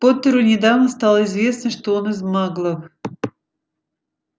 поттеру недавно стало известно что он из маглов